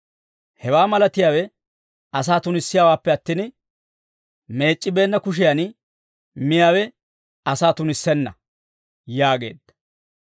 Hewaa malatiyaawe asaa tunissiyaawaappe attin, meec'c'ibeenna kushiyaan miyaawe asaa tunissenna» yaageedda.